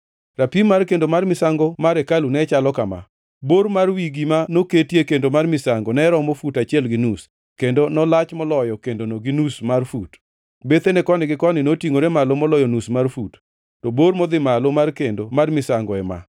“Rapim mar kendo mar misango mar hekalu ne chalo kama: bor mar wi gima noketie kendo mar misango ne romo fut achiel gi nus, kendo nolach moloyo kendono gi nus mar fut. Bethene koni gi koni notingʼore malo moloyo nus mar fut. To bor modhi malo mar kendo mar misango ema: